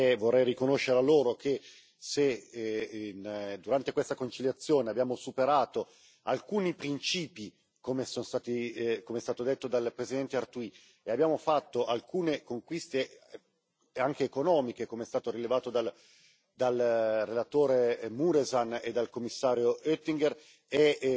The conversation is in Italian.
Vorrei riconoscere loro che, se durante questa conciliazione abbiamo superato alcuni principi, come è stato detto dal presidente Arthuis, e abbiamo fatto alcune conquiste anche economiche, come è stato rilevato dal relatore Mureşan e dal Commissario Oettinger, è